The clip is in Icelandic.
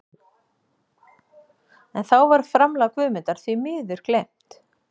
En þá var framlag Guðmundar því miður gleymt.